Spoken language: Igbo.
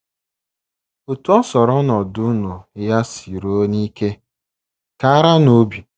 Otú ọ sọrọ ọnọdụ unu ya siruo n’ike, karanụ obi.